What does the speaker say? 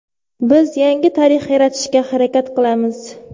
Biz yangi tarix yaratishga harakat qilamiz.